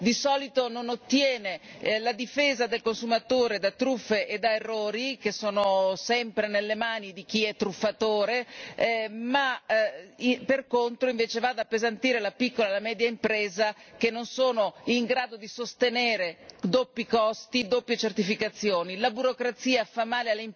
Noi sappiamo che la burocrazia di solito non ottiene la difesa del consumatore da truffe e da errori, che sono sempre nelle mani di chi è truffatore, ma per contro va ad appesantire le piccole e le medie imprese che non sono in grado di sostenere doppi costi di doppie certificazioni.